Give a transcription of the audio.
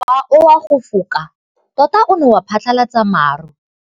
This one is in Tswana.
Mowa o wa go foka tota o ne wa phatlalatsa maru.